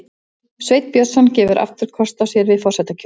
Sveinn Björnsson gefur aftur kost á sér við forsetakjör